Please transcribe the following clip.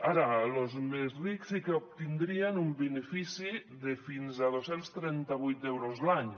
ara los més rics sí que obtindrien un benefici de fins a dos cents i trenta vuit euros l’any